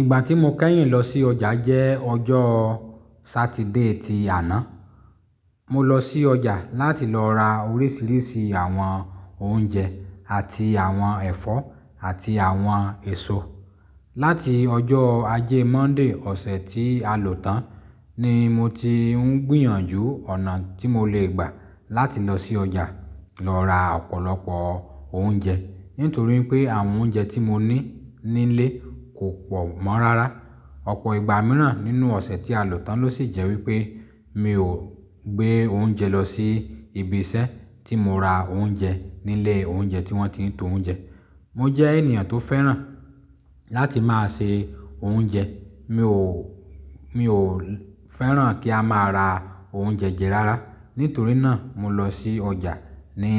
Ìgbà tí mo kẹ́yìn lọ sí ọjà jẹ́ ọjọ́ Satiide ti àná. Mo lọ sí ọjà láti lọ ra oríṣiríṣi àwọn oúnjẹ àti àwọn ẹ̀fọ́ àti àwọn èso. Láti ọjọ́ Ajé Monday ọ̀sẹ̀ tí a lò tán ni mo ti ń gbìyànjú ọ̀nà tí mo lè gbà láti lọ sí ọjà lọ ra ọ̀pọ̀lọpọ̀ oúnjẹ. Nítorí pé àwọn oúnjẹ tí mo ní nílé kò pọ̀ mọ́ rárá. Ọ̀pọ̀ ìgbà míràn nínú ọ̀sẹ̀ tí a lò tán lọ sì jẹ́ wípé mi ò gbé oúnjẹ lọ sí ibi isẹ́ tí mo ra oúnjẹ nílé oúnjẹ tí wọ́n ti ń to oúnjẹ. Mo jẹ́ ènìyàn tó fẹ́ràn láti máa ṣe oúnjẹ. Mi ò, mi ò fẹ́ràn kí a máa ra oúnjẹ jẹ rárá. Nítorí náà mo lọ sí ọjà ní